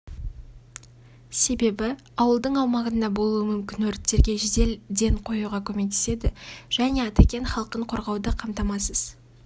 себебі ауылдың аумағында болуы мүмкін өрттерге жедел ден қоюға көмектеседі және атакент халқын қорғауды қамтамасыз